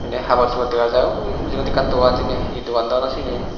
ny habor suor dega jai uue mujungedi ekkan dogan sene he dogan dw no sini.